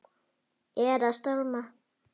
Er að stálma.